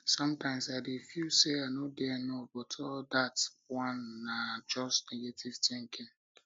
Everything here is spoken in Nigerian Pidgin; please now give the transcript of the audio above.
sometimes i dey feel say i no dey enough but all dat one na just negative thinking